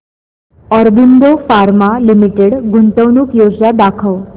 Aurobindo pharma limited गुंतवणूक योजना दाखव